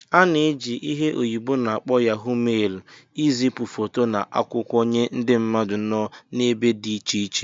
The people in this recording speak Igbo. A na-eji ihe oyibo n'akpo Yahó mailu izipu foto na akwụkwọ nye ndị mmadụ nọ n'ebe dị iche iche